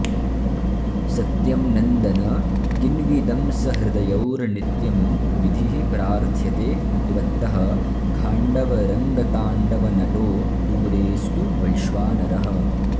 सत्यं नन्दन किन्विदंसहृदयौर्नित्यं विधिः प्रार्थ्यते त्वत्तः खाण्डवरङ्गताण्डवनटो दूरेऽस्तु वैश्वानरः